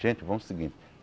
Gente, vamos o seguinte.